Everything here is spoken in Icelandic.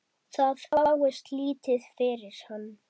Það fáist lítið fyrir hann.